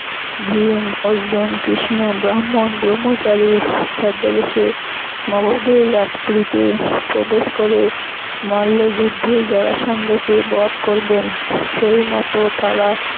ভীম অর্জুন কৃষ্ণ ব্রাম্মণ ভ্রম্মচারী ছদ্মবেশে মগধের রাজপুরীতে প্রবেশ করে মল্ল যুদ্ধে জড়াসন্ধকে বধ করবেন সেইমত তারা